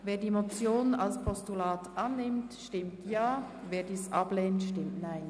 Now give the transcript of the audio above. Wer die Motion als Postulat annimmt, stimmt Ja, wer dies ablehnt, stimmt Nein.